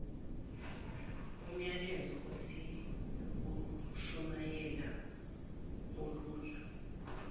myalezo esiwushumayelayo ulula